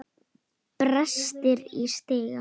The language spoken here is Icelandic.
Brestir í stiga.